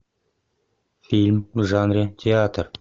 фильм в жанре театр